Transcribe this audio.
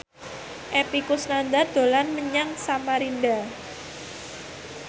Epy Kusnandar dolan menyang Samarinda